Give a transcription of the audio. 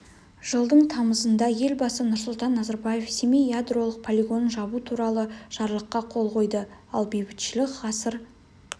жылдың тамызында елбасы нұрсұлтан назарбаев семей ядролық полигонын жабу туралы жарлыққа қол қойды ал бейбітшілік ғасыр